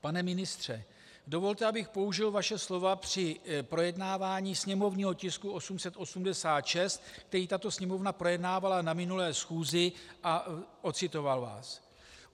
Pane ministře, dovolte, abych použil vaše slova při projednávání sněmovního tisku 886, který tato Sněmovna projednávala na minulé schůzi, a ocitoval vás.